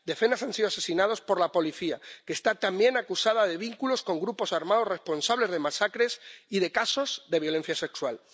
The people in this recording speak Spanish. Decenas han sido asesinados por la policía, que está también acusada de vínculos con grupos armados responsables de masacres y de casos de violencia sexual.